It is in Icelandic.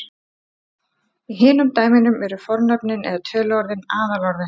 í hinum dæmunum eru fornöfnin eða töluorðin aðalorðin